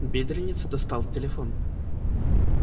бедренец достал телефон